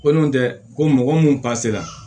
Ko n'o tɛ ko mɔgɔ mun b'a sera